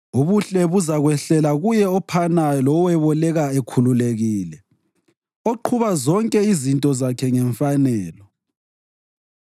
Ubuhle buzakwehlela kuye ophanayo loweboleka ekhululekile, oqhuba zonke izinto zakhe ngemfanelo.